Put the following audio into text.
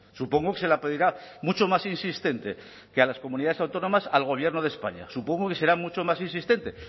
supongo que se la pedirá mucho más insistente que a las comunidades autónomas al gobierno de españa supongo que será mucho más insistente